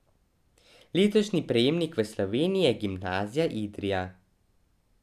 Letošnji prejemnik v Sloveniji je Gimnazija Idrija.